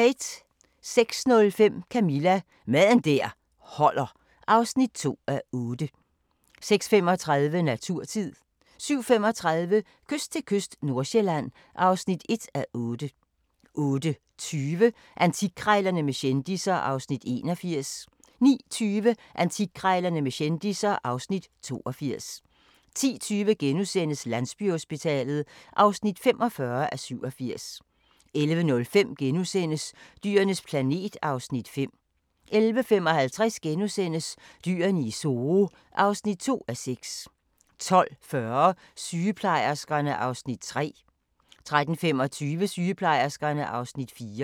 06:05: Camilla – Mad der holder (2:8) 06:35: Naturtid 07:35: Kyst til kyst III – Nordsjælland (1:8) 08:20: Antikkrejlerne med kendisser (Afs. 81) 09:20: Antikkrejlerne med kendisser (Afs. 82) 10:20: Landsbyhospitalet (45:87)* 11:05: Dyrenes planet (Afs. 5)* 11:55: Dyrene i Zoo (2:6)* 12:40: Sygeplejerskerne (Afs. 3) 13:25: Sygeplejerskerne (Afs. 4)